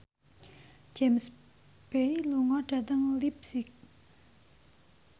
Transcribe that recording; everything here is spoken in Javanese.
James Bay lunga dhateng leipzig